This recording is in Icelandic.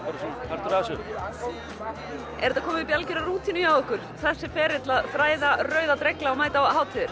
partur af þessu er þetta komið upp í algjöra rútínu hjá ykkur þessi ferill að þræða rauða dregla og mæta á hátíðir